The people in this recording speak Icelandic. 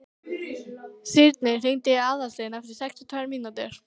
Sírnir, hringdu í Aðalstein eftir sextíu og tvær mínútur.